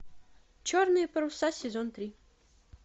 черные паруса сезон три